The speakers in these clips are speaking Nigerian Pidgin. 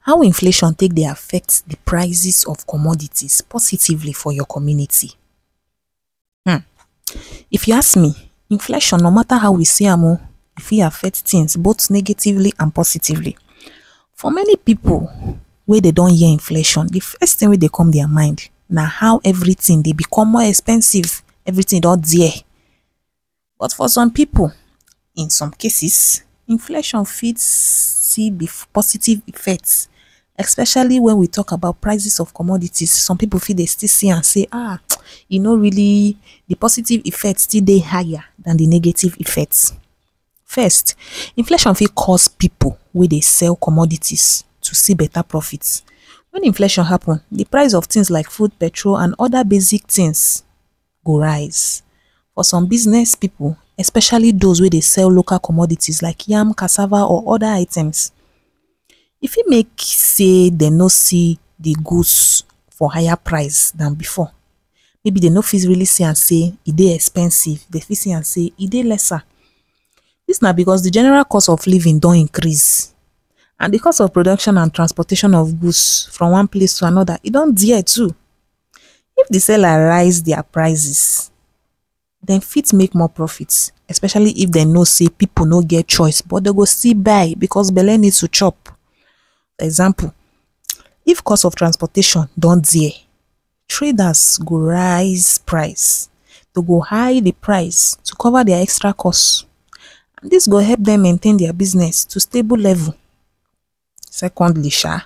how inflation take dey affect the prices of commodities positively for your community um if you ask me inflation no matter how we see am um e fit affect things both negatively and positively. for many people wey dey don hear inflation the first thing wey dey come dia mind na how everything dey become more expensive everything don dear but for some people in some cases, inflation fit see di positive effects especially when we talk about prices of commodities, some people fit dey still see am say, um, e know really the positive effects still dey higher dan di negative effects. First, inflation fit cause people wey dey sell commodities to see better profits. Wen inflation happen, di price of things like food, petrol and oda basic things go rise. For some business people, especially those wey dey sell local commodities like yam, cassava or other items, e fit make say dem no see di goods for higher price than bifor maybe dey no fit really see am say e dey expensive, dey fit say am say it dey lesser. Dis na because di general cost of living don increase and di cost of production and transportation of goods from one place to anoda e don dear too. If di seller rise dia prices dem fit make more profits especially if dem know say people no get choice but dey go still buy because belle needs to chop example if cost of transportation don dear traders go rise price dey go high di price to cover dia extra costs dis go help dem maintain dia business to stable level Secondly um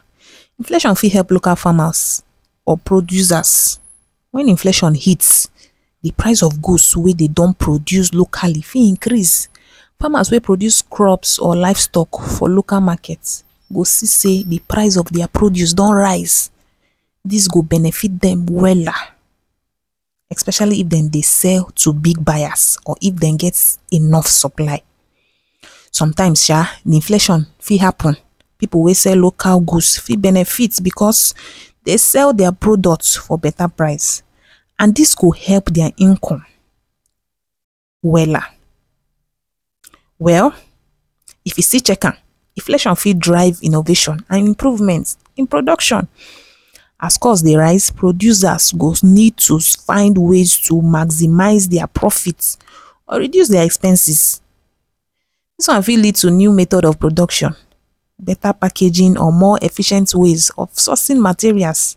inflation fit help local farmers or producers. Wen inflation hits di price of goods wey dem don produce locally fit increase. Farmers wey produce crops or livestock for local markets go see say the price of dia produce don rise dis go benefit dem wella especially if dem dey sell to big buyers or if dem get enough supply. Sometimes um di inflation fit happen. People wey sell local goods fit benefit becos dey sell dia products for better price and this go help their income wella. Well if you see check am inflation fit drive innovation and improvements in production as cost dey rise, producers go need to find ways to maximize their profits or reduce dia expenses dis one fit lead to new method of production, beta packaging, or more efficient ways of sourcing materials,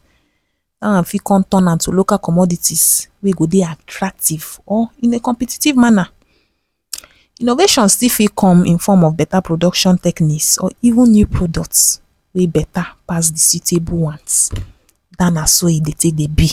dat one fit come turn am to local commodities wey go dey attractive or in a competitive manner. Innovation still fit come in form of beta production techniques or even new products wey beta pass di suitable ones dat na so e dey take dey be